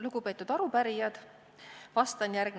Lugupeetud arupärijad!